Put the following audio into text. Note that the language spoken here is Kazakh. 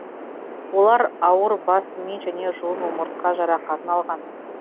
олар ауыр бас ми және жұлын омыртқа жарақатын алған